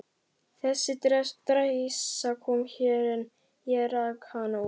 Þessi dræsa kom hér, en ég rak hana út.